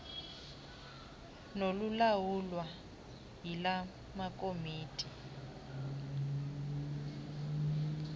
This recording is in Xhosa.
nolulawulwa yila komiti